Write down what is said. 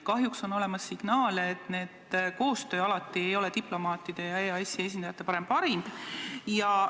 Kahjuks on signaale, et koostöö diplomaatide ja EAS-i esindajate vahel ei ole alati parim.